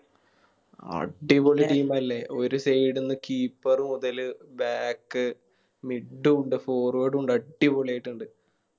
അടിപൊളി Team അല്ലെ ഒരു Side ന്ന് Keeper മുതല് Back mid ഉണ്ട് Forward ഉണ്ട് അടിപൊളിയായിട്ടിണ്ട്